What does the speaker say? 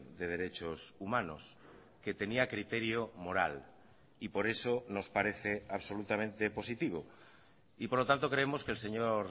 de derechos humanos que tenía criterio moral y por eso nos parece absolutamente positivo y por lo tanto creemos que el señor